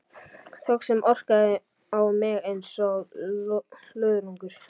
Þögn sem orkaði á mig einsog löðrungur.